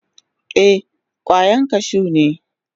Ee, kwayan kashun ne.